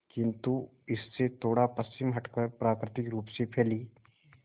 किंतु इससे थोड़ा पश्चिम हटकर प्राकृतिक रूप से फैली